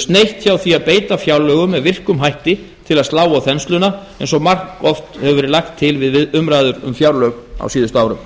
sneitt hjá því að beita fjárlögum með virkum hætti til að slá á þensluna eins og margoft hefur verið lagt til við umræður um fjárlög síðustu árin